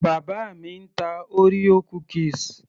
bàbá mi ń ta orea cookies